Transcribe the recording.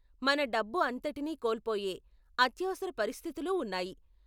మన డబ్బు అంతటిని కోల్పోయే అత్యవసర పరిస్థితులు ఉన్నాయి.